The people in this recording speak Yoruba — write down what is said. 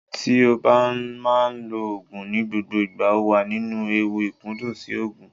Tí o bá máa ń lo Ògùn ní gbogbo ìgbà, o wà nínú ewu ìkúndùn sí Ògùn.